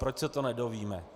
Proč se to nedozvíme?